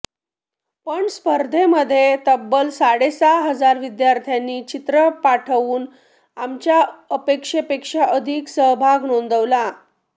पण स्पर्धेमध्ये तब्बल साडेसहा हजार विद्यार्थ्यांनी चित्र पाठवून आमच्या अपेक्षेपेक्षा अधिक सहभाग नोंदवला